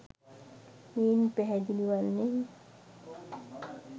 මෙයින් පැහැදිලි වන්නේ